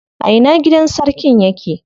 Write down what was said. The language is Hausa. A ina gidan sarkin yake?